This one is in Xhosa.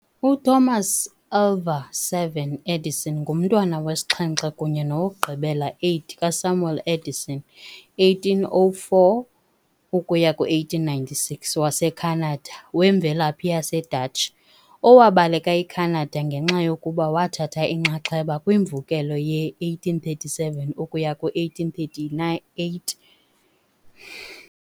UThomas Alva7 Edison ngumntwana wesixhenxe kunye nowokugqibela8 kaSamuel Edison, 1804 ukuya ku1896, waseKhanada wemvelaphi yaseDatshi, owabaleka eCanada ngenxa yokuba wathatha inxaxheba kwimvukelo ye-1837-1838.